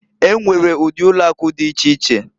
E nwere udi ụlọ akụ dị iche iche.